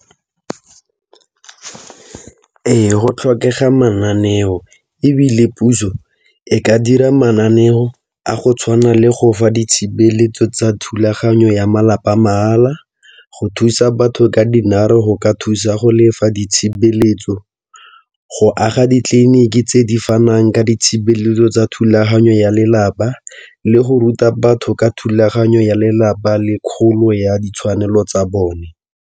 Ee, go tlhokega mananeo ebile puso e ka dira mananeo a go tshwana le go fa ditshebeletso tsa thulaganyo ya malapa mahala go thusa batho ka go ka thusa go lefa di tshebeletso, go aga ditleliniki tse di fanang ka ditshebeletso tsa thulaganyo ya lelapa le go ruta batho ka thulaganyo ya lelapa le kgolo ya ditshwanelo tsa bone.